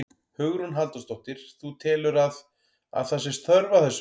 Hugrún Halldórsdóttir: Þú telur að, að það sé þörf á þessu?